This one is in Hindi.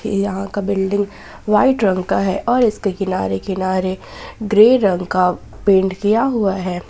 यहां का बिल्डिंग व्हाइट रंग का है और इसके किनारे किनारे ग्रे रंग का पेंट किया हुआ है।